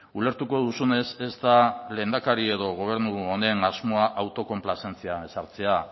ulertuko duzunez ez da lehendakari edo gobernu honen asmoa autokonplazentzia ezartzea